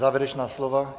Závěrečná slova?